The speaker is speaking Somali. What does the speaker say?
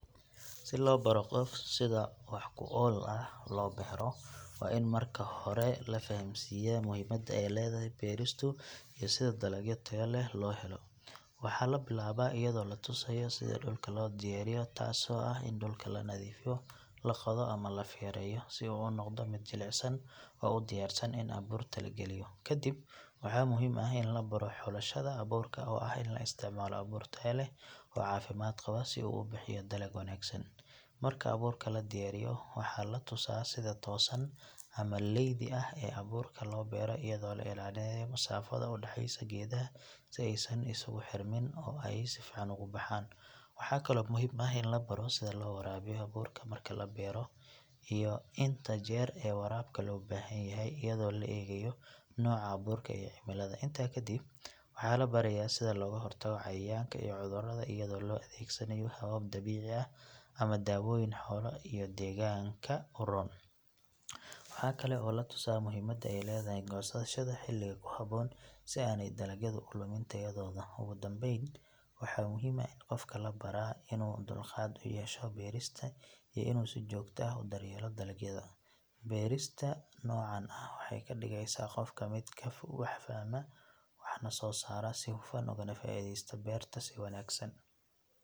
Si loo baro qof sida wax ku ool ah loo beero waa in marka hore la fahamsiiyaa muhiimadda ay leedahay beeristu iyo sida dalagyo tayo leh loo helo. Waxaa la bilaabaa iyadoo la tusayo sida dhulka loo diyaariyo taas oo ah in dhulka la nadiifiyo, la qodo ama la feerayo si uu u noqdo mid jilicsan oo u diyaarsan in abuurta la geliyo. Kadib waxaa muhiim ah in la baro xulashada abuurka oo ah in la isticmaalo abuur tayo leh oo caafimaad qaba si uu u bixiyo dalag wanaagsan. Marka abuurka la diyaariyo, waxaa la tusaa sida toosan ama leydi ah ee abuurka loo beero iyadoo la ilaalinayo masaafada u dhaxaysa geedaha si aysan isugu xirmin oo ay si fiican ugu baxaan. Waxaa kaloo muhiim ah in la baro sida loo waraabiyo abuurka marka la beero iyo inta jeer ee waraabka loo baahan yahay iyadoo la eegayo nooca abuurka iyo cimillada. Intaa kadib waxaa la barayaa sida looga hortago cayayaanka iyo cudurrada iyadoo la adeegsanayo habab dabiici ah ama dawooyin xoolo iyo deegaanka u roon. Waxaa kale oo la tusaa muhiimadda ay leedahay goosashada xilliga ku habboon si aanay dalagyadu u lumin tayadooda. Ugu dambayn, waxaa muhiim ah in qofka la baraa inuu dulqaad u yeesho beerista iyo inuu si joogto ah u daryeelo dalagyada. Barista noocan ah waxay ka dhigaysaa qofka mid wax fahma, waxna soo saara si hufan ugana faa’iideysta beertiisa si wanaagsan.